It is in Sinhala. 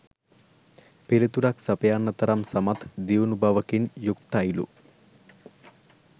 පිළිතුරක් සපයන්න තරම් සමත් දියුණු බවකින් යුක්තයිලු